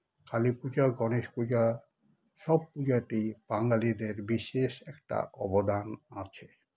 কালি পূজা গণেশ পূজা সব পুজাতেই বাঙালিদের বিশেষ একটা অবদান আছে